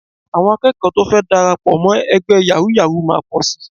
Àwọn akẹ́kọ̀ọ́ tó fẹ́ darapọ̀ mọ́ ẹgbẹ́ yàwúú-yawuù máa pọ̀ sí